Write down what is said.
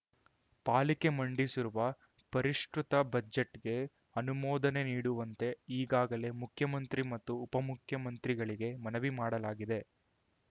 ಪಾಲಿಕೆ ಮಂಡಿಸಿರುವ ಪರಿಷ್ಕೃತ ಬಜೆಟ್‌ಗೆ ಅನುಮೋದನೆ ನೀಡುವಂತೆ ಈಗಾಗಲೇ ಮುಖ್ಯಮಂತ್ರಿ ಮತ್ತು ಉಪಮುಖ್ಯಮಂತ್ರಿಗಳಿಗೆ ಮನವಿ ಮಾಡಲಾಗಿದೆ